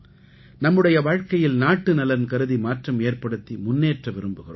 நம்முடைய வாழ்க்கையில் நாட்டுநலன் கருதி மாற்றம் ஏற்படுத்தி முன்னேற்ற விரும்புகிறோம்